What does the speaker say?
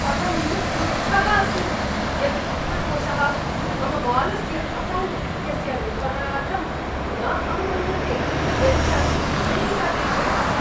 अहं क्रुद्धः अस्मि यत् वित्तकोषः मम बालस्य अकौण्ट् इत्यस्य निर्वहणार्थं न अनुमन्यते यच्च अमेरिकादेशे अस्ति।